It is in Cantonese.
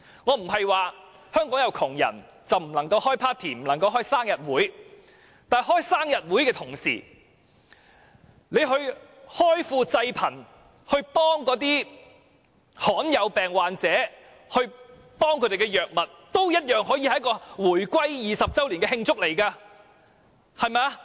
我不是說香港有窮人便不能開 party 或生日會，但與此同時，政府開庫濟貧，幫助罕見病患者獲得所需藥物，同樣也可以是慶祝回歸20周年的活動，不是嗎？